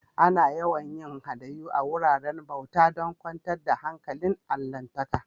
Ana yawan yin hadayu a'wuraren bauta dan kwantar da hankalin allahntaka.